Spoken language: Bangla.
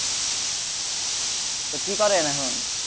তো কি করেন এখন?